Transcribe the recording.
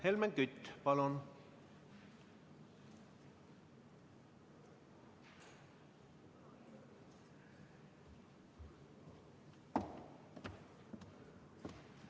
Helmen Kütt, palun!